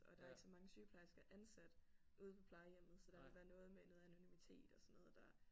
Og der er ikke så mange sygeplejersker ansat ude på plejehjemmet så der ville være noget med noget anonymitet og sådan noget der